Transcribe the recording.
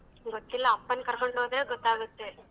ಗೊತ್ತಿಲ್ಲ ಅಪ್ಪನ್ ಕರ್ಕೊಂಡ್ ಹೋದ್ರೆ ಗೊತ್ತಾಗತ್ತೆ.